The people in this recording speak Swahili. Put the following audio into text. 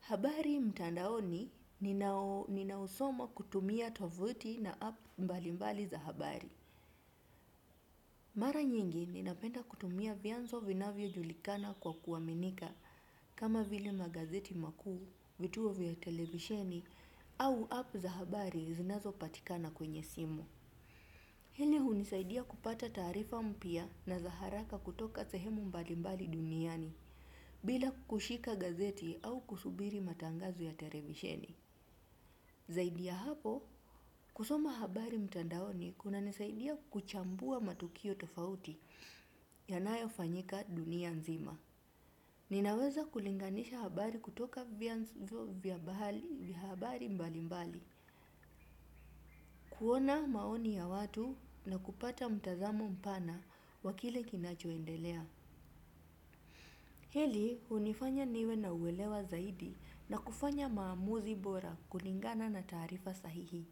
Habari mtandaoni ninausoma kutumia tovuti na app mbali mbali za habari. Mara nyingi ninapenda kutumia vyanzo vinavyojulikana kwa kuaminika kama vile magazeti makuu, vituo vya televisheni au app za habari zinazopatikana kwenye simu. Hili hunisaidia kupata taarifa mpya na za haraka kutoka sehemu mbali mbali duniani bila kushika gazeti au kusubiri matangazo ya televisheni. Zaidi ya hapo, kusoma habari mtandaoni kunanisaidia kuchambua matukio tofauti yanayofanyika dunia nzima. Ninaweza kulinganisha habari kutoka vyanzo vya habari mbali mbali, kuona maoni ya watu na kupata mtazamo mpana wa kile kinachoendelea. Hili hunifanya niwe na uelewa zaidi na kufanya maamuzi bora kulingana na taarifa sahihi.